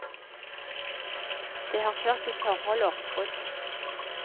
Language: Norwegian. Det har ført til forhold og oppbrudd.